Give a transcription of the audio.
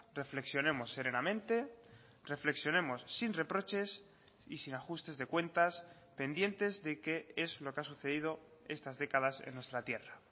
reflexionemos serenamente reflexionemos sin reproches y sin ajustes de cuentas pendientes de que es lo que ha sucedido estas décadas en nuestra tierra